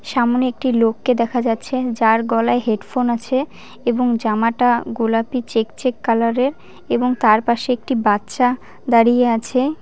সামনে একটি লোককে দেখা যাচ্ছে যার গলায় হেডফোন আছে এবং জামাটা গোলাপী চেক চেক কালারের এবং তার পাশে একটি বাচ্চা দাঁড়িয়ে আছে।